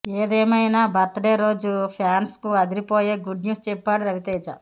ఏదేమైనా బర్త్డే రోజు ఫ్యాన్స్కు అదిరిపోయే గుడ్ న్యూస్ చెప్పాడు రవితేజ